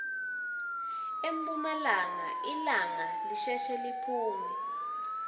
emphumalanga lilanga lisheshe liphume